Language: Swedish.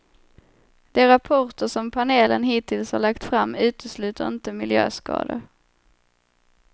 De rapporter som panelen hittills har lagt fram utesluter inte miljöskador.